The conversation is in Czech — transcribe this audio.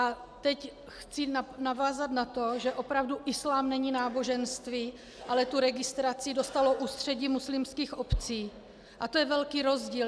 A teď chci navázat na to, že opravdu islám není náboženství, ale tu registraci dostalo Ústředí muslimských obcí a to je velký rozdíl.